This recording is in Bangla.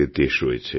দেশ রয়েছে